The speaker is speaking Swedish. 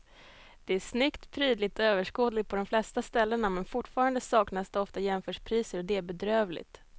Det är snyggt, prydligt och överskådligt på de flesta ställena men fortfarande saknas det ofta jämförpriser och det är bedrövligt.